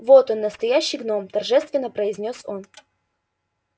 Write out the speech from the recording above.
вот он настоящий гном торжественно произнёс он